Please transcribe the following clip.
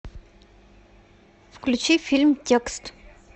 включи фильм текст